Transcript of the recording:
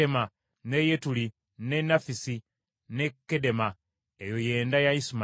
ne Yetuli, ne Nafisi ne Kedema. Eyo y’enda ya Isimayiri.